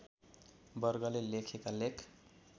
वर्गले लेखेका लेख